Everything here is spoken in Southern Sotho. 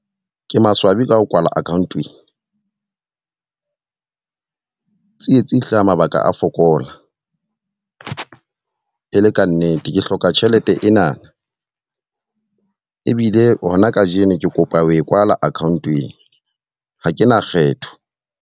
Ke maswabi ka ho kwala account ena tsietsi e hlaha mabaka a fokola e e le ka nnete. Ke hloka tjhelete ena, ebile hona ka jeno ke kopa ho e kwala account ena. Ha ke na kgetho.